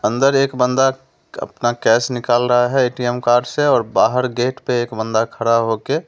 अंदर एक बंदा अपना कैश निकाल रहा है एटीएम कार्ड से और बाहर गेट पे एक बंदा खड़ा होके----